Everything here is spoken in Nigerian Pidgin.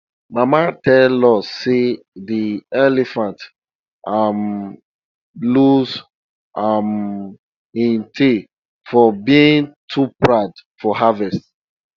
mama tell us seyde elephant um lose um im tail for being too proud for harvest